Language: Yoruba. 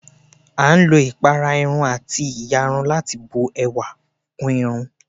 À ń lò ipárá Irún àti íyarún tí bùn èwà kún Irún